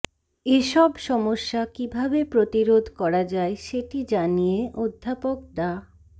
এসব সমস্যা কীভাবে প্রতিরোধ করা যায় সেটি জানিয়ে অধ্যাপক ডা